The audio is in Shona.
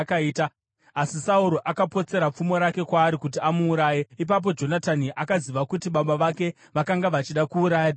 Asi Sauro akapotsera pfumo rake kwaari kuti amuuraye. Ipapo Jonatani akaziva kuti baba vake vakanga vachida kuuraya Dhavhidhi.